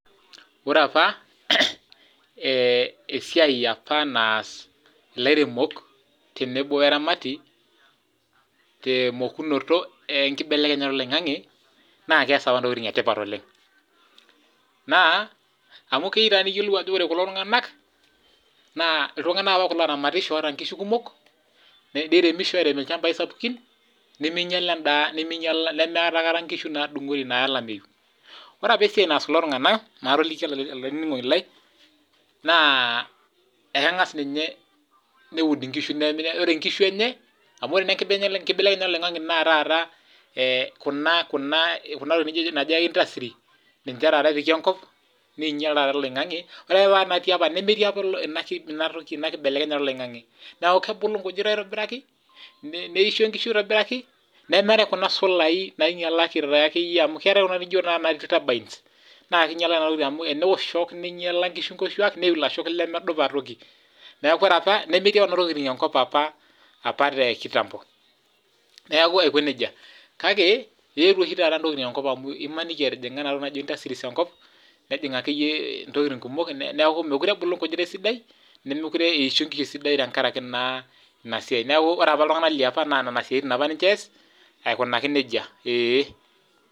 Ore apa, apa esiyai apa naas ilairemok tenebo eramati temokunoto enkibelekenyeta oloing'ang'e naa keyas apa intokitin etipat oleng, naa mu keyeu taa niyiolou ajo kore kulo tunganak naa ltungana kulo apa ooramatisho oota inkishu kumok, neremisho airem ilchambai sapukin nemeinyali endaa nemeatae aikata inkishu naaya olameiyu. Ore epa esiyai naas kulo tungana maatoliki olaininingoni lai, naa ekengas ninye neud inkishu, ore inkishu enye qmu ore naa enkibelekenyata oloing'ang'e naa taata kuna tokitin naijo intastri, ninche taata epiki enkop, neinyal taata oloing'ang'e, ore nemetii apa inatoki, ina nkibelekenyata eloing'ang'e, naaku kebulu inkujit aitobiraki, neisho inkishu aitobiraki neetae kuna solaii nainyala irpaek ake iyie amu keatae naa kuna naa keinyala nena tokitin amu tenewuosh shook neinyala enkishu inkuoshuak neyiu ilashok lemedupa aitoki, naaku ore taata nemetii nena tokitin enkop apa te nkitambo. Neaku aikoneja, kake eitio oshi taata ntokitin enkop amu imaniki etijimg'a naa intastris enkop, nejing' ake iyie ntokitin kumok neaku, mekure ebulu nkujit esidai, nemekupre eisho nkiyotin esidai tengaraki naa ina siyai, naaku ore apa ltungana liapa naaku nena siatin kiyes aikunaki neja, eeh.